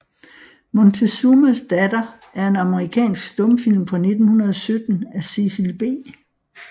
Montezumas Datter er en amerikansk stumfilm fra 1917 af Cecil B